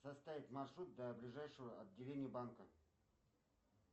составить маршрут до ближайшего отделения банка